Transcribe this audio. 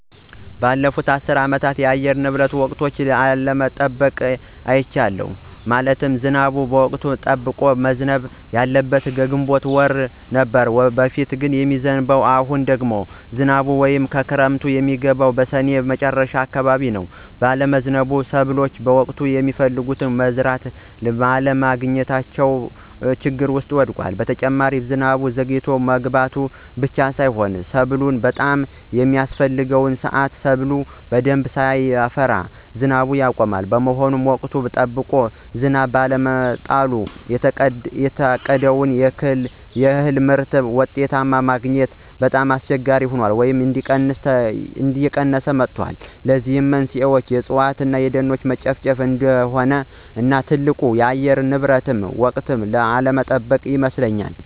ባለፉት አስር አመታት የአየር ንብረቱ ወቅቱን አለመጠበቁን አይቻለሁ። ማለትም ዝናቡ ወቅቱን ጠብቆ መዝነብ እያለበት ከግንቦት ወር ጀምሮ ነበር በፊት የሚዝንብ አሁን ደግሞ ዝናቡ ወይም ክረምቱ የሚገባው በስኔ መጨረሻ አካባቢዎች ነው ባለመዝነቡ ሰብሎ በወቅቱ የሚፈለገውን መዝራት እና ማልማት እያስቸገረ መጥቷል። በተጨማሪ ዝናቡ ዘግይቶ መግባቱ ብቻ ሳይሆን ሰብሉ በጣም በሚያስፍሕገው ስአት ሰብሉ በደንብ ሳያፈራ ዝናቡ ያቆማል። በመሆኑም ወቅቱን ጠብቆ ዝናብ ባለመጣሉ የታቀደውን ያክል ምርትና ውጤት ማግኞት ከአመት አመታት እየቀነሰ መምጣቱን ተረድቻለሁ። ለዚህም መንስኤው የእፅዋት እነ የደኖች መጨፍጨፍ አንዱ እነ ትልቁ ለአየር ንብረት ወቅቱን አለመጠበቅ ይመስለኞል።